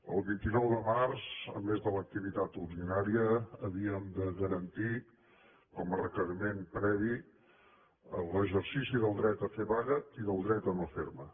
el vint nou de març a més de l’activitat ordinària havíem de garantir com a requeriment previ l’exercici del dret a fer vaga i del dret a no fer ne